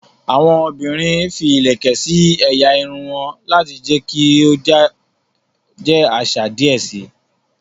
Awọn obìrin fí ilẹkẹ sí ẹ̀yà Irun won lati jẹ kí o jẹ àṣà díẹ síi